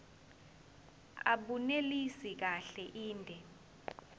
abunelisi kahle inde